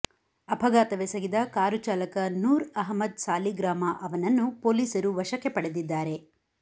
ಅಪಘಾತವೆಸಗಿದ car ಚಾಲಕ ನೂರ್ ಅಹಮ್ಮದ್ ಸಾಲಿಗ್ರಾಮ ಅವನನ್ನು ಪೊಲೀಸರು ವಶಕ್ಕೆ ಪಡೆದಿದ್ದಾರೆ